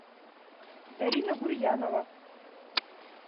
дарина гурьянова